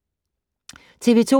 TV 2